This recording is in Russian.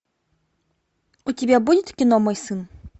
у тебя будет кино мой сын